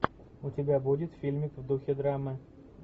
у тебя будет фильмик в духе драмы